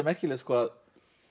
merkilegt að